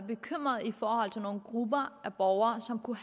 bekymret i forhold til nogle grupper af borgere som kunne